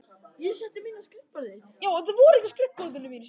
Harpa lét mig aðeins heyra það.